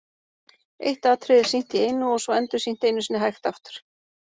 Eitt atriði er sýnt í einu og svo endursýnt einu sinni hægt aftur.